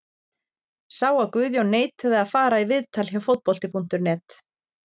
Sá að Guðjón neitaði að fara í viðtal hjá Fótbolti.net.